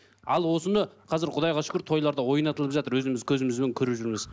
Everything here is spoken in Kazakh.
ал осыны қазір құдайға шүкір тойларда ойнатылып жатыр өзіміз көзімізбен көріп жүрміз